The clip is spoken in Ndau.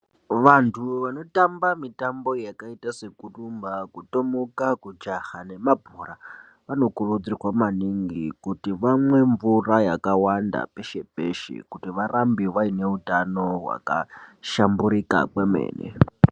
Vantu vanotamba mitambo yakaita sekurumba kutomuka kujaha nemabhora anokurudzirwa maning kuti vamwe mvura yakawanda peshe peshe kuti varambe vane utano hwaka hlamburika kwemene.